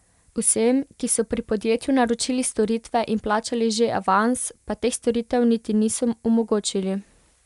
Vsem, ki so pri podjetju naročili storitve in plačali že avans, pa teh storitev niti niso omogočili.